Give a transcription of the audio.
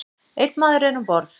Einn maður er um borð.